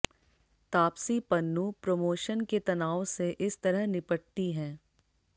Taapsee Pannu promotion के तनाव से इस तरह निपटती हैं